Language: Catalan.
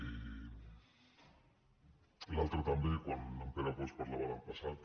i l’altra també quan en pere bosch parlava del passat